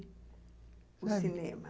– O cinema.